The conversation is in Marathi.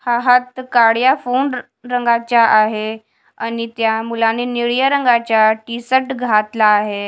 हा हात काड्या फोन रंगाच्या आहे आणि त्या मुलानी निळ्या रंगाच्या टी_शर्ट घातला आहे.